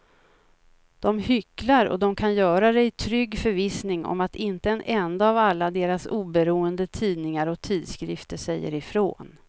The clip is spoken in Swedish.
De hycklar och de kan göra det i trygg förvissning om att inte en enda av alla deras oberoende tidningar och tidskrifter säger ifrån.